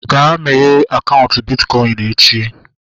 Ga meghee akaụntụ bitkọin echi!